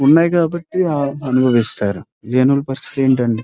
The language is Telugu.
ఉన్నాయి కాబట్టి అనుభవిస్తారు జనరల్ పరిస్థితి ఏంటేంటే --